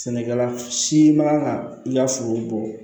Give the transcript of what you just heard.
Sɛnɛkɛla si man kan ka i ka foro bɔ